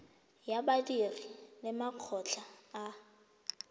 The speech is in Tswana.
ya badiri le makgotla a